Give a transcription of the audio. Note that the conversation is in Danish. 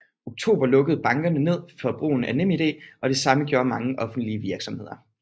Oktober lukkede bankerne ned for brugen af NemID og det samme gjorde mange offentlige virksomheder